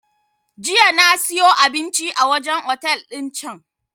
Jiya na siyo abinci a wajen otel din can